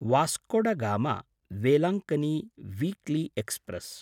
Vasco da गामा–वेलङ्कन्नि weekly express